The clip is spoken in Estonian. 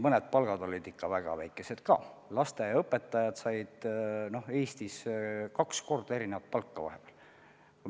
Mõned palgad olid ikka väga väikesed, näiteks lasteaiaõpetajate palga erinevus oli Eestis varem kahekordne.